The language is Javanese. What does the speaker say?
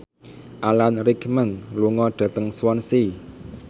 Alan Rickman lunga dhateng Swansea